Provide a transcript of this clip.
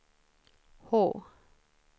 H